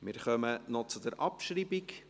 Wir kommen noch zur Abschreibung: